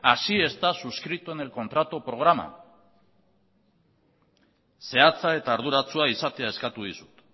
así está suscrito en el contrato programa zehatza eta arduratsua izatea eskatu dizut